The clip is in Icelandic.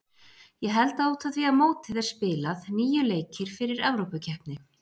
Ég held að út af því að mótið er spilað, níu leikir fyrir Evrópukeppni.